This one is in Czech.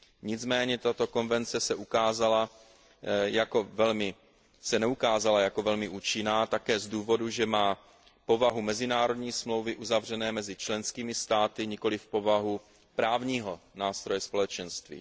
Nicméně tato konvence se neukázala jako velmi účinná také z důvodu, že má povahu mezinárodní smlouvy uzavřené mezi členskými státy, nikoliv povahu právního nástroje Společenství.